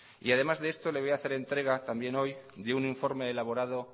y además de esto le voy a hacer entrega también hoy de un informe elaborado